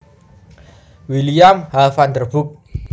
William H Vanderburg